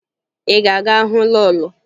Ị ga-aga hụ lọọlọ?